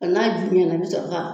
N'a ju ɲɛna i bi sɔrɔ ka